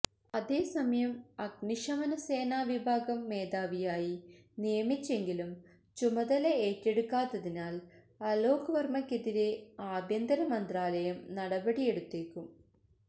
അതേസമയം അഗ്നിശമനസേന വിഭാഗം മേധാവിയായി നിയമിച്ചെങ്കിലും ചുമതലയേറ്റെടുക്കാത്തതിനാല് അലോക് വര്മ്മക്കെതിരെ ആഭ്യന്തരമന്ത്രാലയം നടപടിയെടുത്തേക്കും